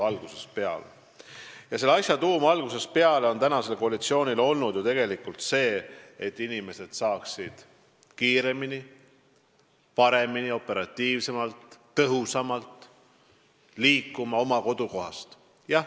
Selle asja tuum on praeguse koalitsiooni jaoks olnud algusest peale see, et inimesed saaksid kiiremini, paremini, operatiivsemalt ja tõhusamalt oma kodukohast liikuma.